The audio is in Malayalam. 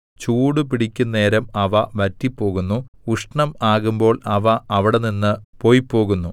ചൂടുപിടിക്കുന്നേരം അവ വറ്റിപ്പോകുന്നു ഉഷ്ണം ആകുമ്പോൾ അവ അവിടെനിന്ന് പൊയ്പോകുന്നു